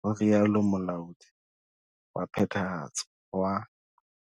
ho rialo Molaodi wa Phethahatso wa.